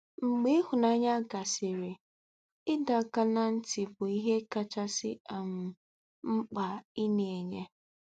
Mgbe ịhụnanya gasịrị, ịdọ aka ná ntị bụ ihe kacha um mkpa ị na-enye. ”